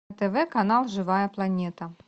тв канал живая планета